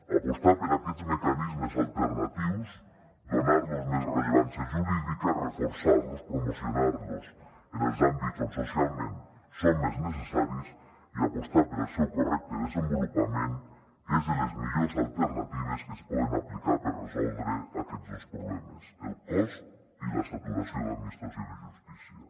apostar per aquests mecanismes alternatius donar los més rellevància jurídica reforçar los promocionar los en els àmbits on socialment són més necessaris i apostar pel seu correcte desenvolupament és de les millors alternatives que es poden aplicar per resoldre aquests dos problemes el cost i la saturació de l’administració de justícia